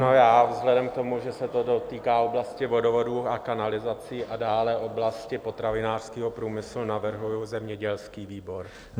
Ano, já vzhledem k tomu, že se to dotýká oblasti vodovodů a kanalizací a dále oblasti potravinářského průmyslu, navrhuji zemědělský výbor.